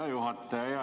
Hea juhataja!